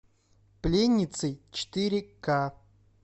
пленницы четыре ка